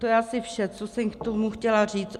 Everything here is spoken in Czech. To je asi vše, co jsem k tomu chtěla říct.